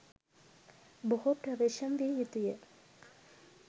බොහෝ ප්‍රවේශම් විය යුතුය.